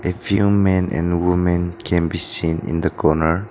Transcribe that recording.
a few men and women can be seen in the corner.